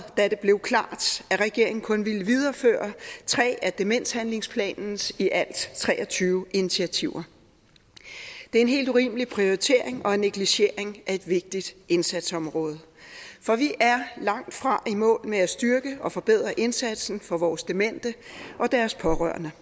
da det blev klart at regeringen kun ville videreføre tre af demenshandlingsplanens i alt tre og tyve initiativer det er en helt urimelig prioritering og negligering af et vigtigt indsatsområde for vi er langtfra i mål med at styrke og forbedre indsatsen for vores demente og deres pårørende